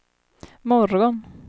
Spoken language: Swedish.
morgon